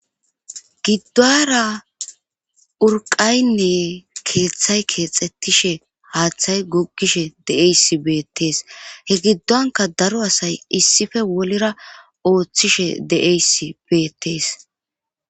gidduwara urqaynne keeththay keexxettishe haaththay guggishe de7eysi beettees he giddonka daro asay issife wolera ooththishe de7eys beettees